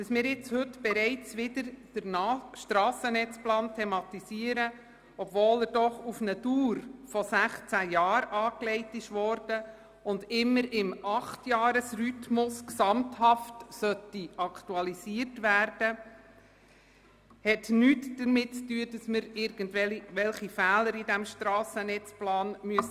Dass wir den Strassennetzplan heute bereits wieder thematisieren, obwohl dieser für eine Dauer von 16 Jahren angelegt worden ist und immer im Acht-Jahres-Rhythmus gesamthaft aktualisiert werden sollte, hat nichts damit zu tun, dass wir irgendwelche Fehler korrigieren müssten.